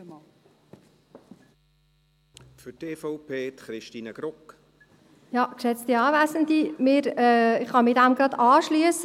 Ich kann mich dem, was die Vorrednerin gesagt hat, gerade anschliessen.